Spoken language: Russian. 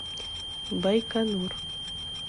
байконур